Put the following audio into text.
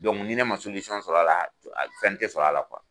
Don ni ne ma sɔrɔ' la a fɛn tɛ sɔrɔ' la kuwa.